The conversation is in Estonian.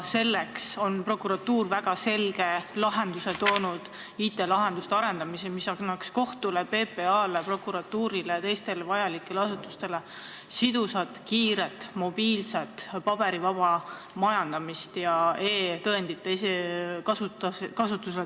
Prokuratuur on välja pakkunud väga selge lahenduse: tuleks arendada IT-lahendusi, mis annaksid kohtule, PPA-le, prokuratuurile ja teistele asutustele võimaluse kasutada sidusat, kiiret, mobiilset, paberivaba majandamist, samuti e-tõendeid.